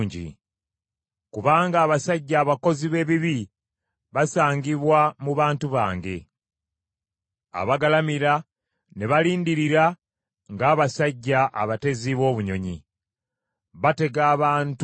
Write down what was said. “Kubanga abasajja abakozi b’ebibi basangibwa mu bantu bange; abagalamira ne balindirira ng’abasajja abatezi b’obunyonyi. Batega abantu omutego.